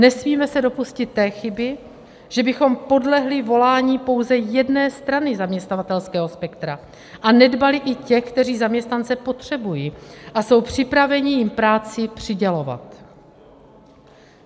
Nesmíme se dopustit té chyby, že bychom podlehli volání pouze jedné strany zaměstnavatelského spektra a nedbali i těch, kteří zaměstnance potřebují a jsou připraveni jim práci přidělovat.